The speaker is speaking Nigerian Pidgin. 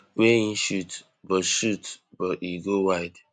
wey im shoot but shoot but e go wide